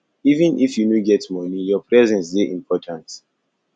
even if you no get moni your presence dey important